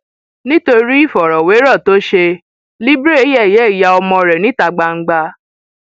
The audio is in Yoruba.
nítorí ìfọrọwérọ tó ṣe libre yẹyẹ ìyá ọmọ rẹ níta gbangba